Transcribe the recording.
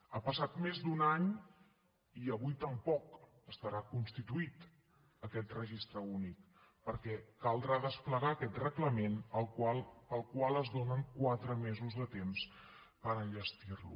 ha passat més d’un any i avui tampoc estarà constituït aquest registre únic perquè caldrà desplegar aquest reglament per al qual es donen quatre mesos de temps per enllestir lo